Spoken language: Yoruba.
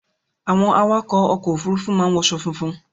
Àwọn awakọ̀ ọkọ Òfurufú máa ń wọṣọ funfun